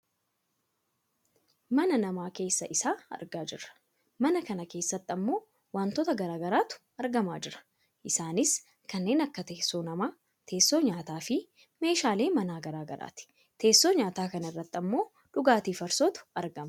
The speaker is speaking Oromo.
mana namaa keessa isaa argaa jirra. mana kana keessatti ammoo wantoota gara garaatu argamaa jira, isaanis kanneen akka teessoo namaa, teessoo nyaataa fi meeshaalee manaa gara garaati. teessoo nyaataa kana irratti ammoo dhugaatii farsootu argama.